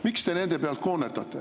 Miks te nende pealt koonerdate?